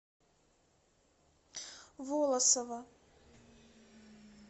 волосово